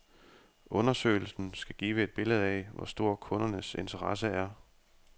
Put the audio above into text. Undersøgelsen skal give et billede af, hvor stor kundernes interesse er.